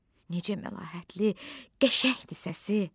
Necə məlahətli, qəşəngdir səsi!